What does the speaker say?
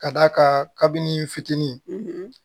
Ka d'a kan kabini fitini